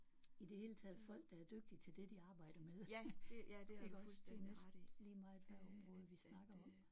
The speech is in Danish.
I det hele taget folk der er dygtige til det de arbejder med iggås det er næsten lige meget hvad område vi snakker om